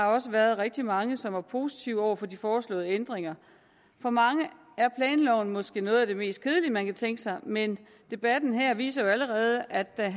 også rigtig mange som er positive over for de foreslåede ændringer for mange er planloven måske noget af det mest kedelige man kan tænke sig men debatten her viser jo allerede at at